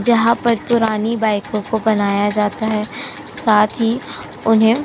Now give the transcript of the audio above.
जहां पर पुरानी बाइकों को बनाया जाता हैं। साथ ही उन्हें --